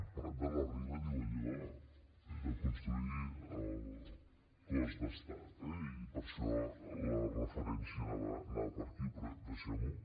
prat de la riba diu allò de construir el cos d’estat eh i per això la referència anava per aquí però deixem ho